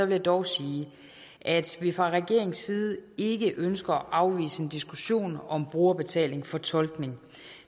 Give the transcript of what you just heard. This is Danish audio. jeg dog sige at vi fra regeringens side ikke ønsker at afvise en diskussion om brugerbetaling for tolkning